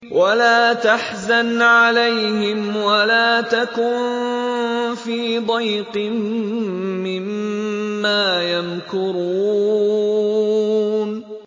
وَلَا تَحْزَنْ عَلَيْهِمْ وَلَا تَكُن فِي ضَيْقٍ مِّمَّا يَمْكُرُونَ